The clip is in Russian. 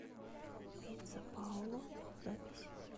пицца паоло запись